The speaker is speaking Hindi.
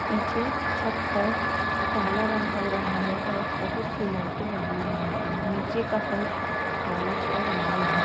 पीछे छत पर काला रंग हो रहा है और बहोत सी लाइटेें लगी हुई हैं। नीचे का फर्श काला और लाल है।